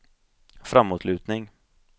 framåtlutning